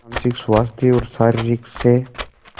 मानसिक स्वास्थ्य और शारीरिक स्